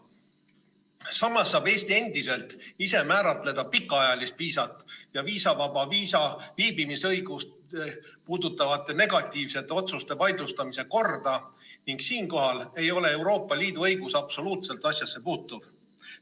Samas saab Eesti endiselt ise määratleda pikaajalist viisat ja viisavaba viibimisõigust puudutavate negatiivsete otsuste vaidlustamise korda ning siinkohal ei ole Euroopa Liidu õigus absoluutselt asjasse puutuv.